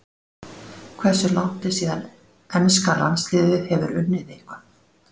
Hversu langt er síðan enska landsliðið hefur unnið eitthvað?